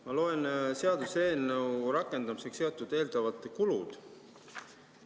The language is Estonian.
Ma loen seaduseelnõu rakendamisega seotud eeldatavate kulude kohta.